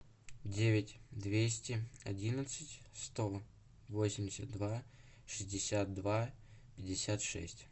девять двести одиннадцать сто восемьдесят два шестьдесят два пятьдесят шесть